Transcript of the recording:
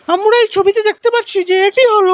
আমরা এই ছবিতে দেখতে পাচ্ছি যে এটি হল--